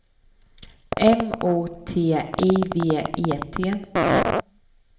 M O T I V E T